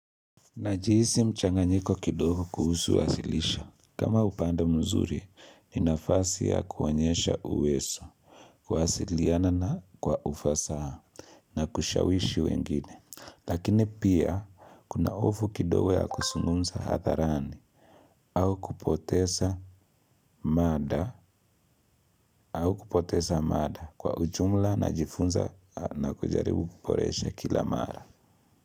Najihisi mchanganyiko kidogo kuhusu wasilisho. Kama upande mzuri ni nafasi ya kuonyesha uwezo, kuwasiliana na kwa ufasaha na kushawishi wengine. Lakini pia, kuna hofu kidogu ya kuzungumza hadharani au kupoteza mada kwa ujumla najifunza na kujaribu kuboresha kila mara.